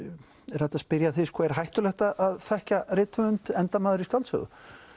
er hægt að spyrja er hættulegt að þekkja rithöfund endar maður í skáldsögu